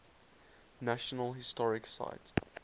national historic site